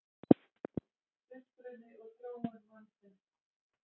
Uppruni og þróun mannsins